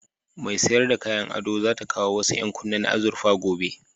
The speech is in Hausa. Mai sayar da kayan ado za ta kawo wasu ƴankunne na azurfa gobe.